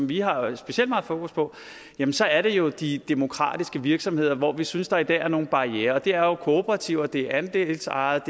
vi har specielt meget fokus på jamen så er det jo de demokratiske virksomheder hvor vi synes der i dag er nogle barrierer det er jo kooperativer det er andelsejede